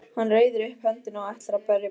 Hann reiðir upp höndina og ætlar að berja Pínu.